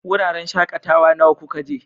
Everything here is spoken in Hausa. Wuraren shakatawa nawa kuka je?